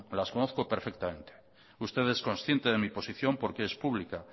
las conozco perfectamente usted es consciente de mi posición porque es pública